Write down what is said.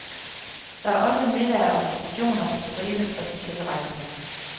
Der er også middage og receptioner på stribe for de tilrejsende.